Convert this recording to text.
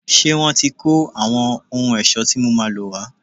Ṣé wọ́n ti kó àwọn ohun ẹ̀ṣọ́ tí mo máa lò wá?